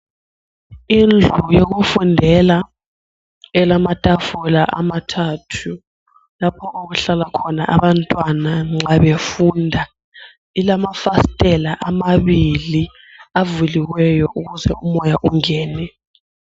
Indlu yokufundela elamatafula amathathu . Lapho okuhlala khona abantwana nxa befunda. Ilamafasitela amabili avuliweyo ukuze umoya ungene.